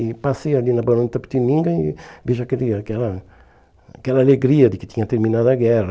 E passei ali na Barão de Itapetininga e vejo aquele aquela aquela alegria de que tinha terminado a guerra.